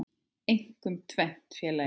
Einkum tvennt, félagi.